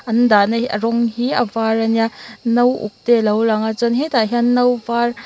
an dahna hi a rawng hi a var a nia no uk te lo lang a chuan hetah hian no var --